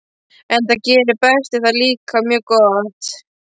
Enda gerir Berti það líka mjög gott.